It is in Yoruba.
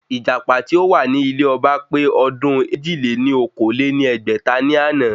Ìjàpá tí ó wà ní ilé ọba pé ọdún èjì-lé-ní-okòó lé ní ẹgbẹ́ta ní àná